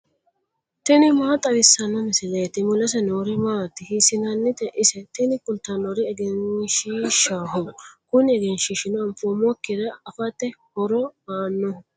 tini maa xawissanno misileeti ? mulese noori maati ? hiissinannite ise ? tini kultannori egenshiishshaho. kuni egenshiishshino anfoommokkire afate horo aannoho.